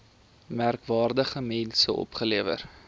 merkwaardige mense opgelewer